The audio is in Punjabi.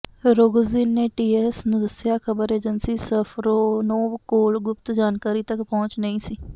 ਰੋਗੋਜ਼ਿਨ ਨੇ ਟੀਏਐਸ ਨੂੰ ਦੱਸਿਆ ਖ਼ਬਰ ਏਜੰਸੀ ਸਫਰੋਨੋਵ ਕੋਲ ਗੁਪਤ ਜਾਣਕਾਰੀ ਤੱਕ ਪਹੁੰਚ ਨਹੀਂ ਸੀ